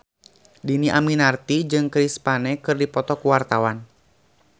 Dhini Aminarti jeung Chris Pane keur dipoto ku wartawan